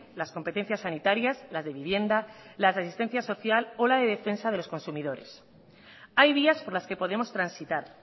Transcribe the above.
las competencias sanitarias las de vivienda las de asistencia social o la de defensa de los consumidores hay vías por las que podemos transitar